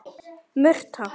Murta